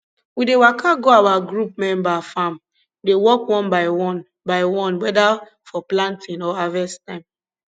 we dey waka go our group member farm dey work one by one by one whether for planting or harvest time